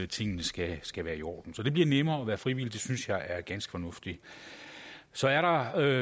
tingene skal skal være i orden så det bliver nemmere at være frivillig og det synes jeg er ganske fornuftigt så er der